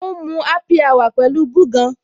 O ń mu happy hour pẹ̀lú búgan.